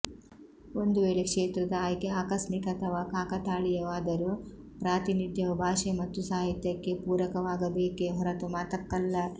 ಒಂದು ವೇಳೆ ಕ್ಷೇತ್ರದ ಆಯ್ಕೆ ಆಕಸ್ಮಿಕ ಅಥವಾ ಕಾಕತಾಳೀಯವಾದರೂ ಪ್ರಾತಿನಿಧ್ಯವು ಭಾಷೆ ಮತ್ತು ಸಾಹಿತ್ಯಕ್ಕೆ ಪೂರಕವಾಗಬೇಕೇ ಹೊರತು ಮತಕ್ಕಲ್ಲ